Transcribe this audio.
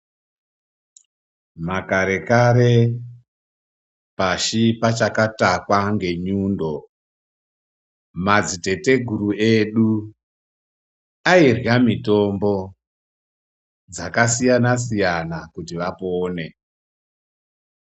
Makare-kare pashi pachakatakwa ngenyundo, madziteteguru edu airya mitombo dzakasiyana-siyana kuti vapone.